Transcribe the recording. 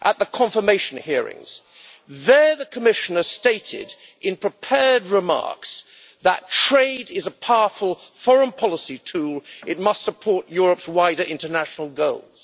At the confirmation hearings, there the Commissioner stated in prepared remarks that trade is a powerful foreign policy tool and that it must support Europe's wider international goals.